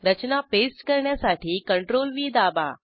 रचना paste करण्यासाठी CTRL V दाबा